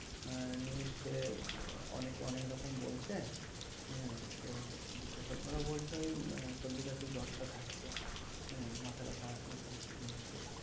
আহ news এ অনেকে অনেক রকম বলছে। হম তো বিশেষজ্ঞরা বলছে ওই সর্দি, কাশি, জ্বর টা থাকছে। আহ মাথা ব্যাথা এই সমস্ত জিনিসগুলো থাকছে।